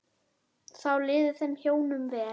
Þá liði þeim hjónum vel.